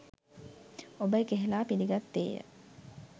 ඔබ එකහෙළා පිළිගත්තේය.